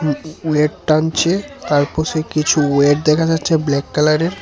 উ উলেট টানছে তার পশে কিছু ওয়েট দেখা যাচ্ছে ব্ল্যাক কালারের।